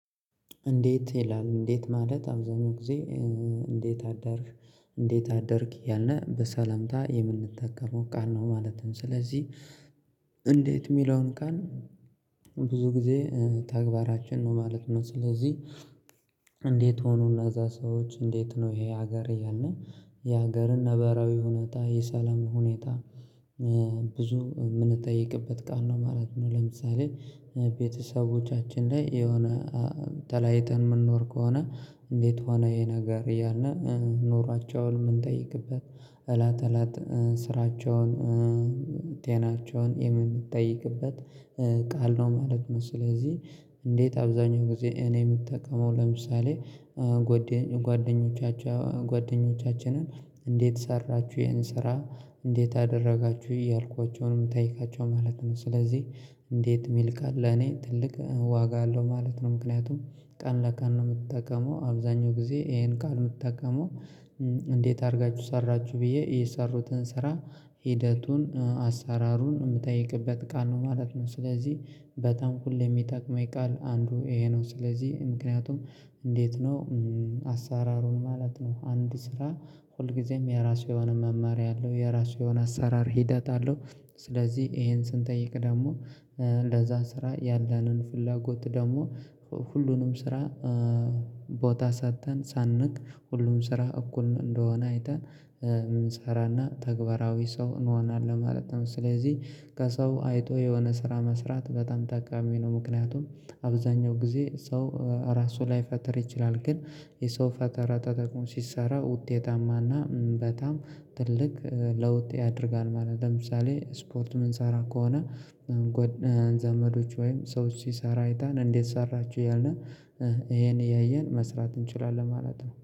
እንዴት ይላል እንዴት ማለት አብዛኛው ጊዜ እንዴት አደርክ እንዴት አደርክ እያልን በሰለምታ የምንጠቀመው ቃል ነው ማለት ነው ስለዚህ እንዴት የሚለውን ቃል ብዙ ጊዜ ተግባራችን ነው ማለት ነው ስለዚህ እንዴት ሆኖና እዛ ሰዎች እንዴት ነው ይሄ ሀገር እያልን የሀገርን ነበራዊ ሁኔታ የሰላም ሁኔታ ብዙ የምንጠይቅበት ቃል ነው ማለት ነው። ለምሳሌ ቤተሰቦቻችን ላይ የሆነ ተለያይተን የምንኖር ከሆነ እንዴት ሆነ ይሄ ነገር እያልን ኑሯቸውን የምንጠይቅበት እለት እለት ስራቸውን ጤናቸውን የምንጠይቅበት ቃል ነው ማለት ነው። ስለዚህ እንዴት አብዛኛው ጊዜ እኔ የምጠቀመው ለምሳሌ ጓደኞቻቸው ጓደኞቻችንን እንዴት ሰራችሁ ያንን ስራ እንዴት አደረጋችሁ እያልኳቸው የምጠይቃቸው ማለት ነው ስለዚህ እንዴት የሚል ቃል ለኔ ትልቅ ዋጋ አለው ማለት ነው ምክንያቱም ቀን ለቀን ነው የምጠቀመው አብዛኛው ጊዜ ይሄን ቃል ነው የምጠቀመው እንዴት አድርጋችሁ ሰራችሁ ብዬ የሰሩትን ስራ ሂደቱን አሰራሩን የምጠይቅበት ቃል ነው ማለት ነው ስለዚህ በጣም ሁሌም የሚጠቅመኝ ቃል አንዱ ይሄ ነው ስለዚህ ምክንያቱም እንዴት ነው አሰራሩን ማለት ነው አንድ ስራ ሁል ጊዜም የራሱ የሆነ መመሪያ አለው የራሱ የሆነ የአሰራር ሂደት አለው ስለዚህ ይሄን ስንጠይቅ ደግሞ ለዛ ስራ ያለንን ፍላጎት ደግሞ ሁሉንም ስራ ቦታ ሰጥተን ሳንንቅ ሁሉም ስራ እኩል እንደሆነ አይተን እንሰራና ተግባራዊ ሰው እንሆናለን ማለት ነው ስለዚህ ከሰው አይቶ የሆነ ስራ መስራት በጣም ጠቃሚ ነው ምክንያቱም አብዛኛው ጊዜ ሰው ራሱ ላይፈጥር ይችላል ግን የሰው ፈጠራ ተጠቁሞ ሲሰራ ውጤታማና በጣም ትልቅ ለውጥ ያደርጋል ማለት ነው ለምሳሌ ስፖርት የምንሰራ ከሆነ ዘመዶች ወይም ሰዎች ሲሰራ አይተን እንዴት ሰራችሁ እያልን ይሄን እያየን መስራት እንችላለን ማለት ነው